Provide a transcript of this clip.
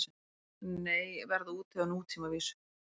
Nei, verða úti á nútímavísu